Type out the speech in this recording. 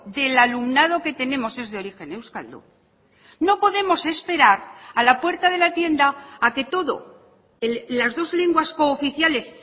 del alumnado que tenemos es de origen euskaldun no podemos esperar a la puerta de la tienda a que todo las dos lenguas cooficiales